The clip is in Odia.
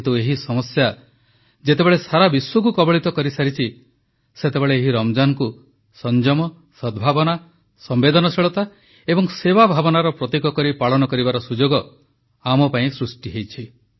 କିନ୍ତୁ ଏହି ସମସ୍ୟା ଯେତେବେଳେ ସାରା ବିଶ୍ୱକୁ କବଳିତ କରିସାରିଛି ସେତେବେଳେ ଏହି ରମଜାନକୁ ସଂଯମ ସଦ୍ଭାବନା ସମ୍ବେଦନଶୀଳତା ଏବଂ ସେବା ଭାବନାର ପ୍ରତୀକ କରି ପାଳନ କରିବାର ସୁଯୋଗ ଆମ ପାଇଁ ସୃଷ୍ଟି ହୋଇଛି